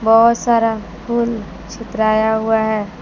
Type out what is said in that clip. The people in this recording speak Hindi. बहुत सारा फुल चितराया हुआ है।